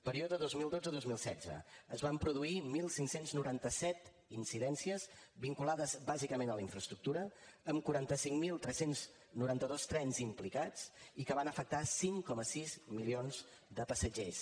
període dos mil dotze dos mil setze es van produir quinze noranta set incidències vinculades bàsicament a la infraestructura amb quaranta cinc mil tres cents i noranta dos trens implicats i que van afectar cinc coma sis milions de passatgers